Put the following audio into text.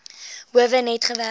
howe net gewerk